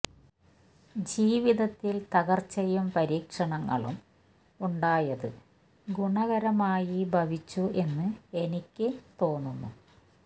ജീവിതത്തില് തകര്ച്ചയും പരീക്ഷണങ്ങളും ഉണ്ടായത് ഗുണകരമായി ഭവിച്ചു എന്ന് എനിക്കു തോന്നുന്നു